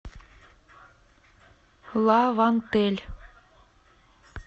лавантель